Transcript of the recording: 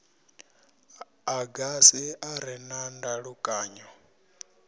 agasi a re na ndalukanyo